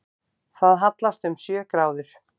Það hallast um sjö gráður